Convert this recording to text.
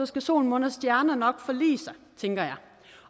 skal sol og måne og stjerner nok forlige sig tænker jeg